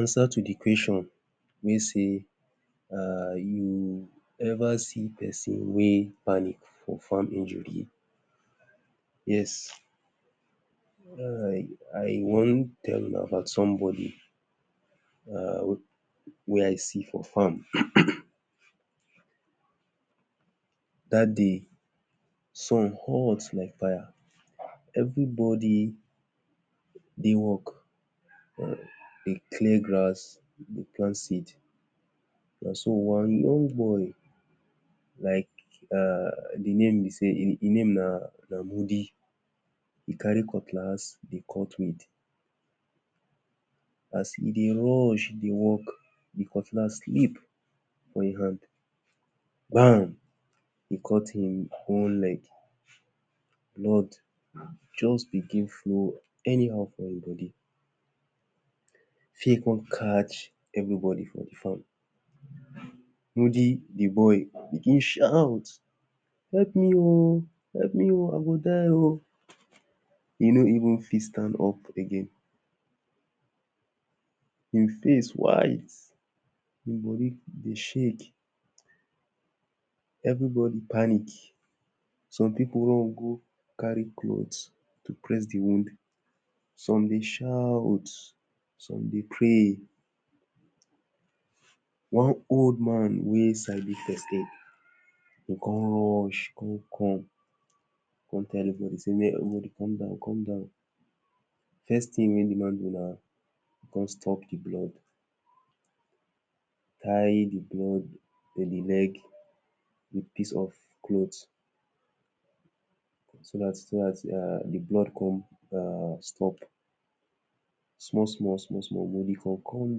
Answer to de question which say um you ever see person wey pic for farm injury? yes I wan tell una about somebody wey I see for farm. that day sun hot like fire. everybody dey work dey clear grass dey plant seed. na so one young boy like de name be say Im name Namudi e carry cutlass dey cut weed. as he dey rush dey work, de cutlass slip for im hand now he cut im own leg blood just begin flow anyhow for im body. fear come catch everybody for de farm. Mudi, de boy begin shout help me oh help me oh e go die oh e no even fit stand up again im face white im body dey shake everybody panic some people run go carry clothe to press and de wound. some dey shout, some dey pray one old man wey sabi first aid go come rush come come tell de boy say make everybody calm down, calm down. first thing wey de man do na he come stop de blood tie de blood to de leg with piece of clothe, so that so that de blood go come stop small small small small. body come calm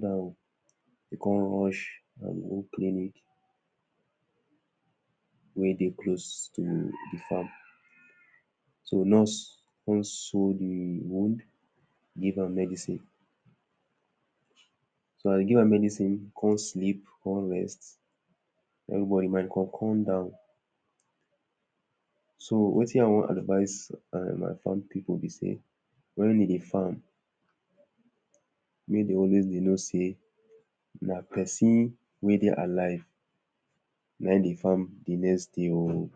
down dey come rush go um one clinic wey dey close to de farm. so nurse come sew de wound give am medicine. so as e give am medicine e come sleep, come rest everybody mind come calm down. so wetin I wan advice my farm pipu be sey, when we dey farm, make dem always dey know sey na person wey dey alive, na im dey farm de next day oh.